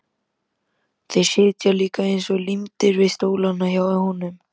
Þeir sitja líka eins og límdir við stólana hjá honum!